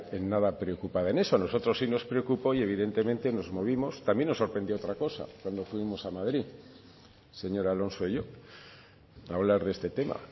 en nada preocupada en eso nosotros sí nos preocupó y evidentemente nos movimos también nos sorprendió otra cosa cuando fuimos a madrid el señor alonso y yo a hablar de este tema